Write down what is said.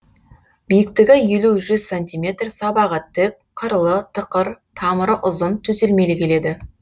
биіктігі елі жүз сантиметр сабағы тік қырлы тықыр тамыры ұзын төселмелі келеді